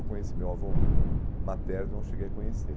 Eu conheci meu avô materno, eu cheguei a conhecer.